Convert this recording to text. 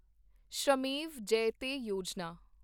Shramev Jayate Yojana